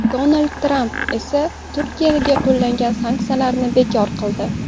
Donald Tramp esa Turkiyaga qo‘llanilgan sanksiyalarni bekor qildi .